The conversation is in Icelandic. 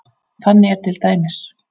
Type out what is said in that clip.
Þannig er til dæmis